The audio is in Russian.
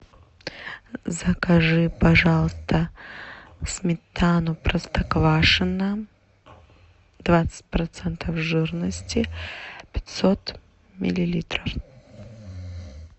закажи пожалуйста сметану простоквашино двадцать процентов жирности пятьсот миллилитров